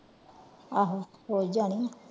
ਆਹੋ ਹੋ ਹੀ ਜਾਣੀ ਆ।